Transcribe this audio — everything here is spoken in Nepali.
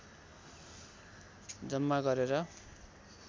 जम्मा गरेर